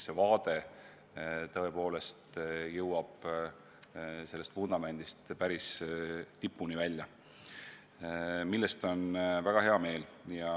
See vaade tõepoolest jõuab vundamendist päris tipuni välja, mille üle on väga hea meel.